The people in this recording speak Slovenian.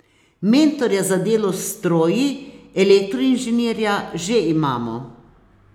Mentorja za delo s stroji, elektroinženirja, že imamo.